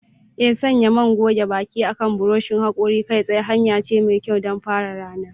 Ee, sanya man goge baki akan buroshin hakori kai tsaye hanya ce mai kyau don fara ranar.